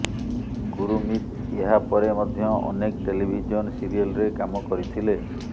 ଗୁରୁମିତ ଏହା ପରେ ମଧ୍ୟ ଅନେକ ଟେଲିଭିଜନ ସିରିଏଲରେ କାମ କରିଥିଲେ